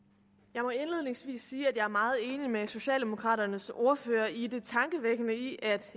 jeg må indledningsvis sige at jeg er meget enig med socialdemokraternes ordfører i det tankevækkende i at